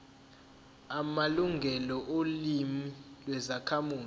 amalungelo olimi lwezakhamuzi